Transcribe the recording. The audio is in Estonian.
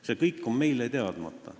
See kõik on meile teadmata.